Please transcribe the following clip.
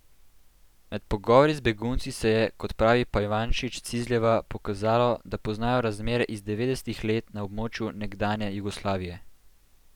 Med pogovori z begunci se je, kot pravi Pajvančić Cizljeva, pokazalo, da poznajo razmere iz devetdesetih let na območju nekdanje Jugoslavije.